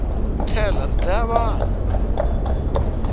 ri tlhelari dlaya vanhu